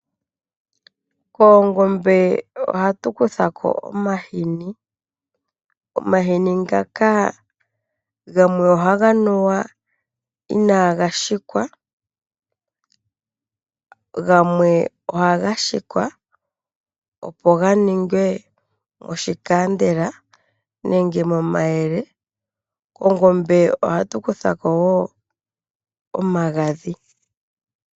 Koongombe ohatu kuthako omahini. Omahini ngaka gamwe ohaga nuwa inaaga hikwa, gamwe ohaga ga hikwa, opo ga ninge Omayele nenge Oshikandela. Koongombe ohatu kuthako woo omagadhi.